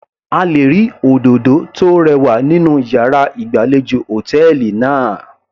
A lè rí òdòdó tó rẹwà nínú yàrá ìgbàlejò hòtẹ́ẹ̀lì náà.